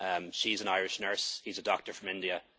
in England. She's an Irish nurse and he's a doctor